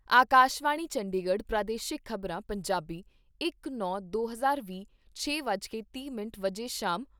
ਆਕਾਸ਼ਵਾਣੀ ਚੰਡੀਗੜ੍ਹ ਪ੍ਰਾਦੇਸ਼ਿਕ ਖ਼ਬਰਾਂ , ਪੰਜਾਬੀ ਇਕ ਨੌ ਦੋ ਹਜ਼ਾਰ ਵੀਹ, ਛੇ ਵੱਜ ਕੇ ਤੀਹ ਮਿੰਟ ਸ਼ਾਮ